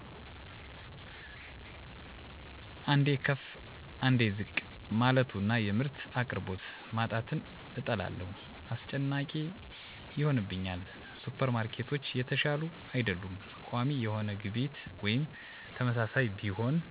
አንዴ ከፍ አንዴ ዝቅ ማለቱና የምርት አቅርቦት ማጣትን እጠላለሁ። አስጨናቂ ይሆንብኛል። ሱፐርማርኬቶች የተሻሉ አይደሉም። ቋሚ የሆነ ግብይት ወይም ተመሳሳይ ቢሆን